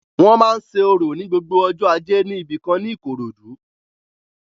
Wọ́n máa ń òrò ni gbogbo ọjọ́ ajé ní ibìkan ní Ìkòròdú